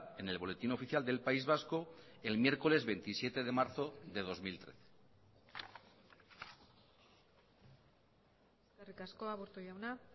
en el boletín oficial del país vasco el miércoles veintisiete de marzo de dos mil trece eskerrik asko aburto jauna